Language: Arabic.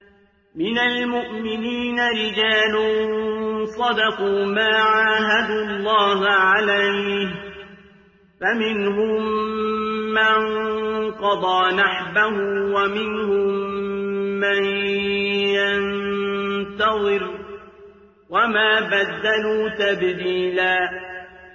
مِّنَ الْمُؤْمِنِينَ رِجَالٌ صَدَقُوا مَا عَاهَدُوا اللَّهَ عَلَيْهِ ۖ فَمِنْهُم مَّن قَضَىٰ نَحْبَهُ وَمِنْهُم مَّن يَنتَظِرُ ۖ وَمَا بَدَّلُوا تَبْدِيلًا